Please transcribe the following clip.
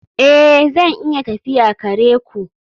Ee, zan iya tafiya kare ku